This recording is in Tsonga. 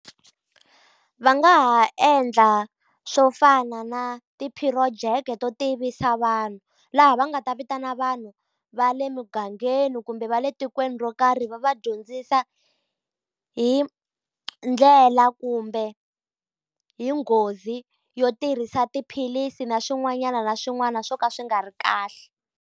Va nga ha endla swo fana na ti-project to tivisa vanhu. Laha va nga ta vitana vanhu va le mugangeni kumbe va le tikweni ro karhi ri va va dyondzisa hi ndlela kumbe hi nghozi yo tirhisa tiphilisi na swin'wanyana na swin'wana swo ka swi nga ri kahle.